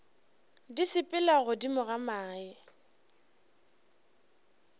di sepela godimo ga mae